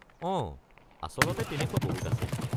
অঁ, আচলতে তেনেকুৱা বহুত আছে।